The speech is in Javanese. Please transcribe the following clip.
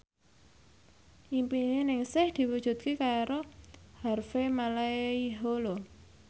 impine Ningsih diwujudke karo Harvey Malaiholo